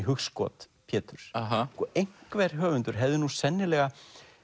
hugskot Péturs einhver höfundur hefði nú sennilega